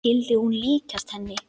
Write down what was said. Skyldi hún líkjast henni?